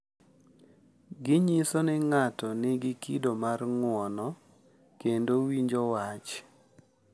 Ginyiso ni ng’ato nigi kido mar ng’uono kendo winjo wach.